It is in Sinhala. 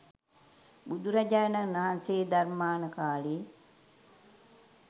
බුදුරජාණන් වහන්සේ ධර්මාන කාලෙ